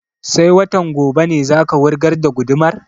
Sai watan gobe ne za ka wurgar da gudumar?